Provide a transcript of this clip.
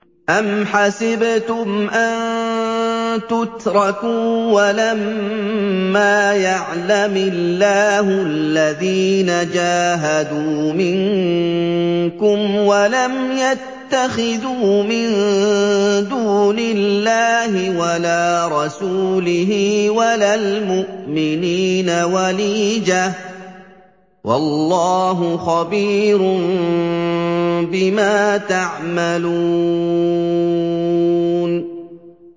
أَمْ حَسِبْتُمْ أَن تُتْرَكُوا وَلَمَّا يَعْلَمِ اللَّهُ الَّذِينَ جَاهَدُوا مِنكُمْ وَلَمْ يَتَّخِذُوا مِن دُونِ اللَّهِ وَلَا رَسُولِهِ وَلَا الْمُؤْمِنِينَ وَلِيجَةً ۚ وَاللَّهُ خَبِيرٌ بِمَا تَعْمَلُونَ